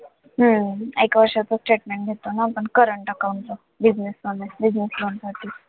हम्म एका वर्षाचं statement घेतो ना आपण current account चं business मध्ये business loan साठी